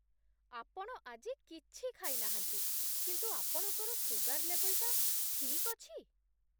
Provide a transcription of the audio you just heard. ଆପଣ ଆଜି କିଛି ଖାଇନାହାନ୍ତି, କିନ୍ତୁ ଆପଣଙ୍କର ସୁଗାର ଲେବଲ୍‌ଟା ଠିକ୍ ଅଛି!